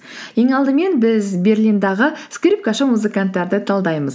ең алдымен біз берлинддегі скрипкашы музыканттарды талдаймыз